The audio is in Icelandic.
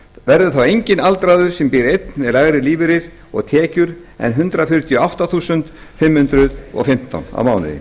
verður þá enginn aldraður sem býr einn með lægri lífeyri og tekjur en hundrað fjörutíu og átta þúsund fimm hundruð og fimmtán krónur á mánuði